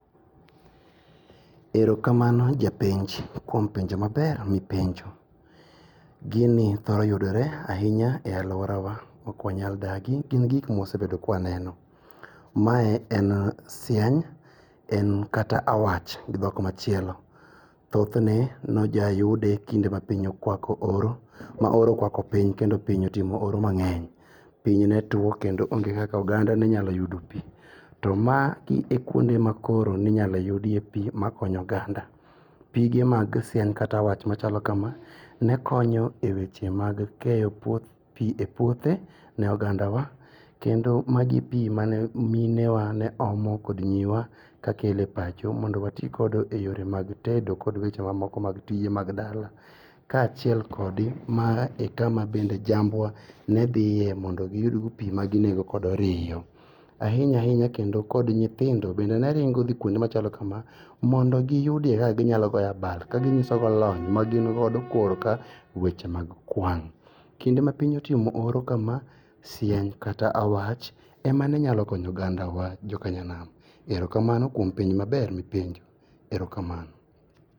Erokamano japenj kuom penjo maber mipenjo. Gini thoro yudore ahinya e aluorawa okwanyaldagi, gin gik mwasebedo kwaneno. Mae en siany, en kata awach gi dhok machielo. Thothne nojayude kinde ma piny okwako oro, ma oro okwako piny kendo piny otimo oro mang'eny. Piny netuo kendo onge kaka oganda nenyayudo pii. To magi e kuonde ma koro ninyayudie pii makonyo oganda. Pige mag siany kata awach machalo kama nekonyo e weche mag keyo pii e puothe ne ogandawa kendo magi pii mane minewa neomo kod nyiwa kakele pacho mondo wati kodo e yore mag tedo kod weche wa moko mag tije mag dala ka chiel kod maa e kama jambwa nedhie mondo giyudgo pii maginego kodo riyo ainya ainya kod nyithindo bende neringo dhi kuonde machalo kamaa mondo giyudie kakaginyalo goyo abal kaginyisogo lony magingodo kor ka weche mag kwang'.Kinde ma piny otimo oro kama siany kata awach ema nenyakonyo ogandawa jokanam. Erokamano kuom penjo maber mipenjo. Erokamano.